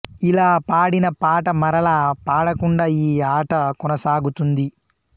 యిలా పాడిన పాట మరల పాడకుండా ఈ ఆట కొనసాగుతుంది